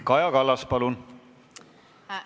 Kaja Kallas, palun!